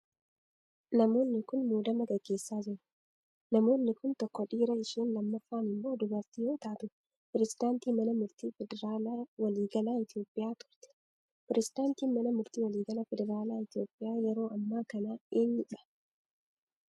Namoonni kun, muudama gaggeessaa jiru. Namoonni kun, tokko dhiira isheen lammaffaa immoo dubartii yoo taatu, pireezidantii mana murtii federaalaa waliigalaa Itoophiyaa turte. Pireezidantiin mana murtii waliigalaa federaalaa Itoophiyaa yeroo ammaa kana eenyu dha?